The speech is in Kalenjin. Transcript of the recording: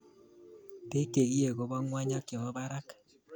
Beek che kiee kobo ngony ak chebo barak